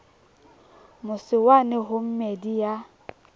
mose wane ho meedi ya